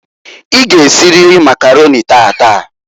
I g' esiriri Makaroni taataǃ